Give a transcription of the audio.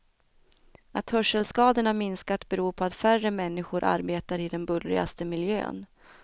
Att hörselskadorna minskat beror på att färre människor arbetar i den bullrigaste miljön.